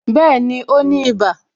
Bẹẹni, ó ní iba